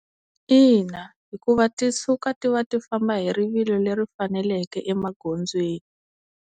Ina hikuva ti suka ti va ti famba hi rivilo leri faneleke emagondzweni.